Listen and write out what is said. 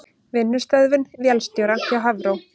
Vinnustöðvun vélstjóra hjá Hafró